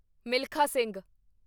Milkha Singh